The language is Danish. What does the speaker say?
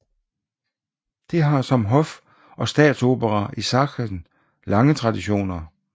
Det har som hof og statsopera i Sachsen lange traditioner